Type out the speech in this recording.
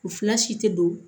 U fila si tɛ don